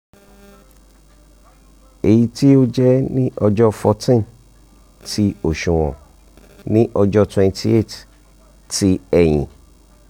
?] eyiti o jẹ ni ọjọ fourteen ti oṣuwọn ni ọjọ twenty eight ti ẹyin